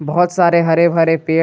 बहुत सारे हरे भरे पेड़--